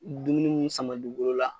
Dumuni mun sama don bolo la